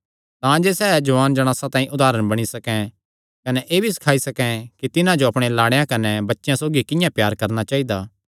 तांजे सैह़ जुआन जणासां तांई उदारण बणी सकैं कने एह़ भी सखाई सकैं कि तिन्हां जो अपणे लाड़ेयां कने बच्चेयां सौगी किंआं प्यार करणा चाइदा